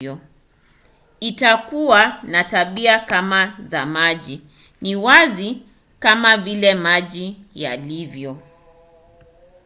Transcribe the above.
"itakuwa na tabia kama za maji. ni wazi kama vile maji yalivyo